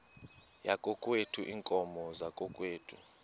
yakokwethu iinkomo zakokwethu